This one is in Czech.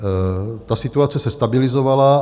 Ta situace se stabilizovala.